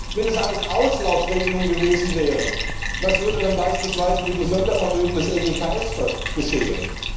Wenn das alles Auslaufregelungen gewesen wären, was würde dann beispielsweise mit dem Sondervermögen der EGKS geschehen?